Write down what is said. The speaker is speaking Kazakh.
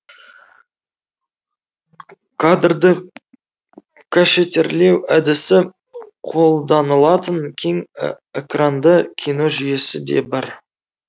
кадрды кашетирлеу әдісі қолданылатын кең экранды кино жүйесі де бар